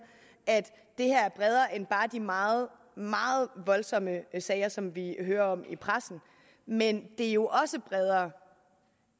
at det her er bredere end bare de meget meget voldsomme sager som vi hører om i pressen men det er jo også bredere